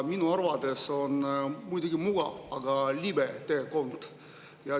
Minu arvates on see muidugi mugav, aga libe tee.